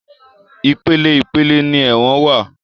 Ìpele ìpele ni ẹ̀wọ̀n wá.